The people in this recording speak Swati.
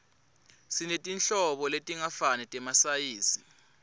sinetinhlobo letingafani temasayizi